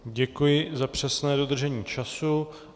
Děkuji za přesné dodržení času.